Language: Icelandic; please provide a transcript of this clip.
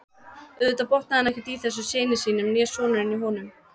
Auðvitað botnaði hann ekkert í þessum syni sínum né sonurinn í honum.